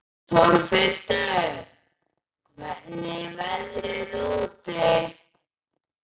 Torfhildur, hvernig er veðrið úti?